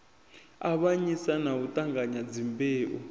avhanyisa na u ṱanganya dzimbeu